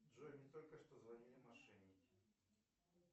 джой мне только что звонили мошенники